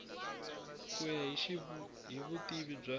ku ya hi vutivi bya